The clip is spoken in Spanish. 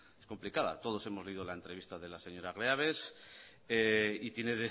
es complicada todos hemos leído la entrevista de la señora greaves y tienen